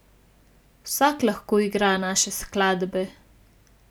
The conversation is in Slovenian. Vsak lahko igra naše skladbe.